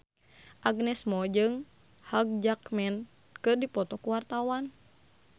Agnes Mo jeung Hugh Jackman keur dipoto ku wartawan